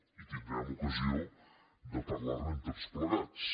i tindrem ocasió de parlarne tots plegats